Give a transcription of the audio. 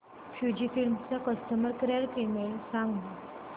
Fujifilm चा customer care email सांगा